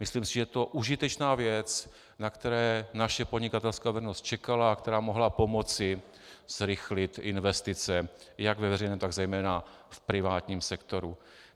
Myslím si, že je to užitečná věc, na kterou naše podnikatelská veřejnost čekala a která mohla pomoci zrychlit investice jak ve veřejném, tak zejména v privátním sektoru.